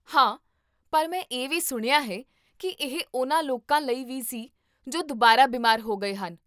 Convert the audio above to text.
ਹਾਂ, ਪਰ ਮੈਂ ਇਹ ਵੀ ਸੁਣਿਆ ਹੈ ਕੀ ਇਹ ਉਹਨਾਂ ਲੋਕਾਂ ਲਈ ਵੀ ਸੀ ਜੋ ਦੁਬਾਰਾ ਬਿਮਾਰ ਹੋ ਗਏ ਹਨ